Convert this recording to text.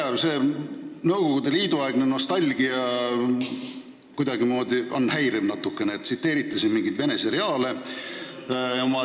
See teie Nõukogude Liidu aegne nostalgia natuke häirib, tsiteerite siin mingeid vene seriaale.